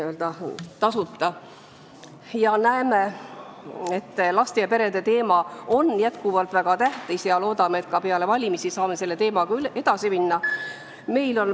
Me näeme, et laste ja perede teema on jätkuvalt väga tähtis, ja loodame, et ka peale valimisi saame sellega edasi minna.